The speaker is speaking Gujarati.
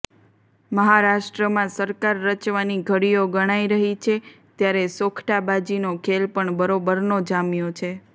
મહારાષ્ટ્રમાં સરકાર રચવાની ઘડીઓ ગણાઈ રહી છે ત્યારે સોગઠાબાજીનો ખેલ પણ બરોબરનો જામ્યો છે